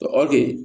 Ɔ ɔ de